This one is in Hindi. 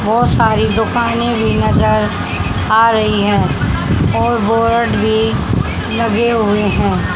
बहुत सारे दुकानें भी नजर आ रही हैं और बोर्ड भी लगे हुए है।